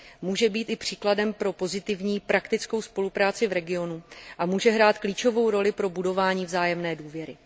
Může být i příkladem pro pozitivní, praktickou spolupráci v regionu a může hrát klíčovou roli pro budování vzájemné důvěry.